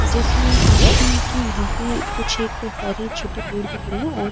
जैसे ऐसी के यहाँ पे कुछ एक हरे छोटे पेड़ भी खड़े है और --